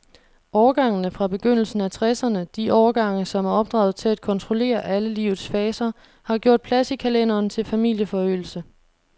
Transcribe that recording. Årgangene fra begyndelsen af tresserne, de årgange, som er opdraget til at kontrollere alle livets faser, har gjort plads i kalenderen til familieforøgelse.